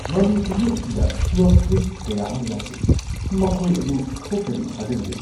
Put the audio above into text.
ꯃꯃꯤ ꯀꯨꯝꯍꯩ ꯑꯁꯤꯗ ꯄ꯭ꯂꯣꯠ ꯇ꯭ꯋꯤꯁꯠ ꯀꯌꯥ ꯑꯃ ꯌꯥꯎꯈꯤ! ꯃꯈꯣꯏ ꯑꯗꯨ ꯊꯣꯛꯀꯅꯤ ꯊꯥꯖꯔꯨꯗꯦ꯫